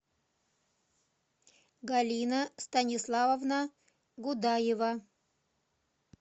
галина станиславовна гудаева